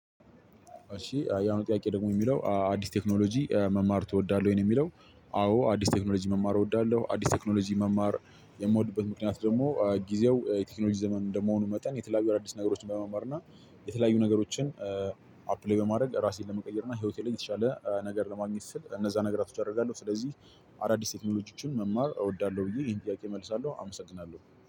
እሺ የአሁኑ ጥያቄ ደግሞ የሚለው አዲስ ቴክኖሎጂ መማር ትወዳለህ ወይ? ነው የሚለው አዎ አዲስ ቴክኖሎጂ መማር እወዳለሁ አዲስ ቴክኖሎጂ መማር የምወድበት ምክንያት ደሞ ጊዜው የቴክኖሎጂ ዘመን እንደመሆኑ መጠን የተለያዩ አዳዲስ ነገር ለመማርና የተለያዩ ነገሮችን አፕግሬድ ለማረግና እራሴን ለመቀየርና ሂወቴን የተሻለ ነገር ለማግኘት ስል እነዛ ነገሮች አደርጋለሁ ስለዚ አዳዲስ ቴክኖሎጂዎችን መማር እወዳለሁ ብዬ ይሄን ጥያቄ እመልሳለው አመሰግናለሁ።